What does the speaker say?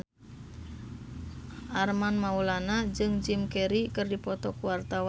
Armand Maulana jeung Jim Carey keur dipoto ku wartawan